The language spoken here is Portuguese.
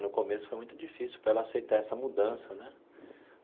No começo, foi muito difícil para ela aceitar essa mudança né.